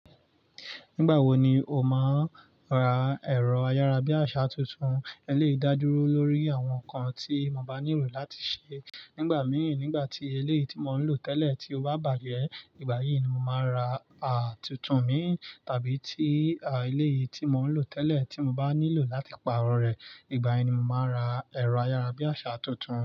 Nígbà wo ni o máa ra ẹ̀rọ ayárabíàṣá tuntun? Eléyìí dá dúró lórí àwọn nǹkan tí mo bá nílò láti ṣe. Nígbà míì, nígbà tí eléyìí tí mò ń lò tẹ́lẹ̀ tí ó bá bàjẹ́, ìgbà yìí ni mọ màá ra à tuntun mí tàbí tí eléyìí tí mò ń lò tẹ́lẹ̀ tí mo bá nílò láti pàrọ̀ rẹ̀, ìgbà yìí ni màá ra ẹ̀rọ ayárabíàṣá tuntun.